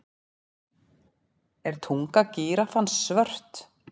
Er tunga gíraffans svört?